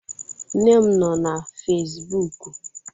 nne m nọ na Facibụkụ